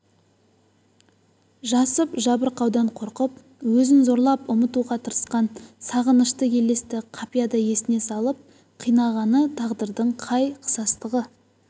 жасып жабырқаудан қорқып өзін зорлап ұмытуға тырысқан сағынышты елесті қапияда есіне салып қинағаны тағдырдың қай қысастығы